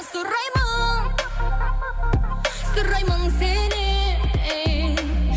сұраймын сұраймын сенен